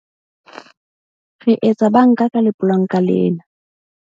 Re etsa banka ka lepolanka lena.